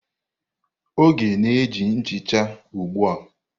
Oge na-eji nchicha ugbu a.